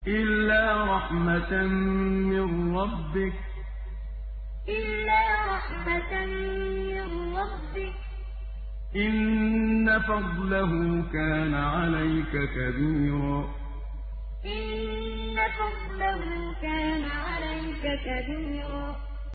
إِلَّا رَحْمَةً مِّن رَّبِّكَ ۚ إِنَّ فَضْلَهُ كَانَ عَلَيْكَ كَبِيرًا إِلَّا رَحْمَةً مِّن رَّبِّكَ ۚ إِنَّ فَضْلَهُ كَانَ عَلَيْكَ كَبِيرًا